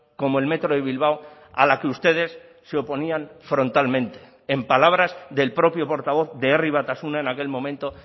como el metro de bilbao a la que ustedes se oponían frontalmente en palabras del propio portavoz de herri batasuna en aquel momento